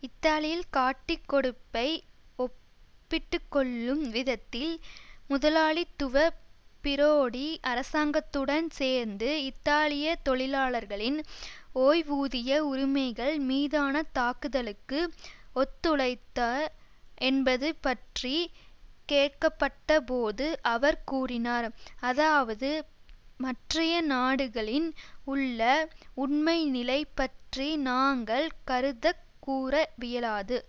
இத்தாலியில் காட்டிக் கொடுப்பை ஒப்பிட்டுக்கொள்ளும் விதத்தில் முதலாளித்துவ பிரோடி அரசாங்கத்துடன் சேர்ந்து இத்தாலிய தொழிலாளர்களின் ஓய்வூதிய உரிமைகள் மீதான தாக்குதலுக்கு ஒத்துழைத்த என்பது பற்றி கேட்கப்பட்ட போது அவர் கூறினார் அதாவது மற்றய நாடுகளின் உள்ள உண்மைநிலை பற்றி நாங்கள் கருத்தக் கூற வியலாது